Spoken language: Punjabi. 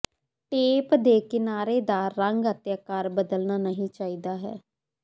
ਟੇਪ ਦੇ ਕਿਨਾਰੇ ਦਾ ਰੰਗ ਅਤੇ ਆਕਾਰ ਬਦਲਣਾ ਨਹੀਂ ਚਾਹੀਦਾ ਹੈ